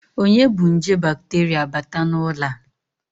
Onye bu nje bakterịa bata n'ụlọ a?